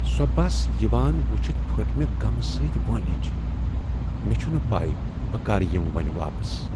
سۄ بس یوان وٕچھتھ پھٔٹ مےٚ غمہٕ سۭتۍ وٲنج۔ مےٚ چھنہٕ پے بہٕ کر یمہٕ وۄبنۍ واپس۔